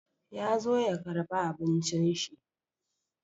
Ya zo ya karba abincin shi.